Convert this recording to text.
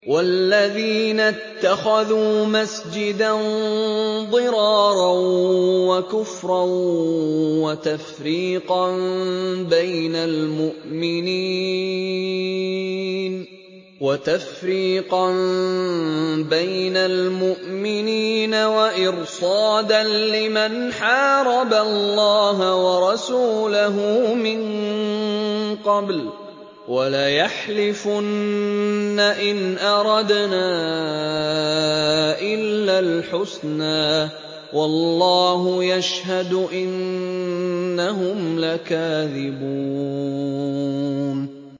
وَالَّذِينَ اتَّخَذُوا مَسْجِدًا ضِرَارًا وَكُفْرًا وَتَفْرِيقًا بَيْنَ الْمُؤْمِنِينَ وَإِرْصَادًا لِّمَنْ حَارَبَ اللَّهَ وَرَسُولَهُ مِن قَبْلُ ۚ وَلَيَحْلِفُنَّ إِنْ أَرَدْنَا إِلَّا الْحُسْنَىٰ ۖ وَاللَّهُ يَشْهَدُ إِنَّهُمْ لَكَاذِبُونَ